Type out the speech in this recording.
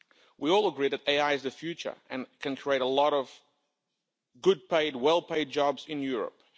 We all agree that AI is the future and can create a lot of good, well-paid jobs in Europe.